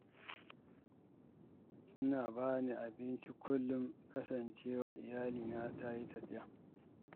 Suna ba ni abinci kullum kasancewar iyalina ta yi tafiya.